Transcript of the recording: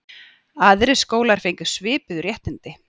Aðrir skólar fengu svipuð réttindi.